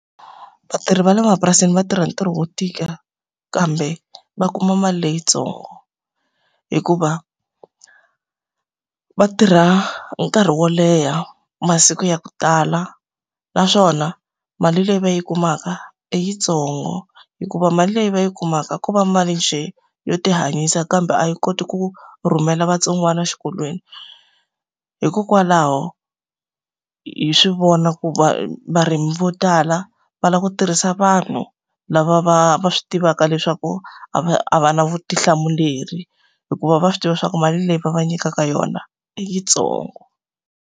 Vatirhi va le mapurasini va tirha ntirho wo tika, kambe va kuma mali leyitsongo. Hikuva va tirha nkarhi wo leha, masiku ya ku tala, naswona mali leyi va yi kumaka i yitsongo. Hikuva mali leyi va yi kumaka ko va mali njhe yo ti hanyisa kambe a yi koti ku rhumela vatsongwana exikolweni. Hikokwalaho hi swi vona ku varimi vo tala, va lava ku tirhisa vanhu lava va va swi tivaka leswaku a va a va na vutihlamuleri. Hikuva va swi tiva leswaku mali leyi va va nyikaka yona i yitsongo.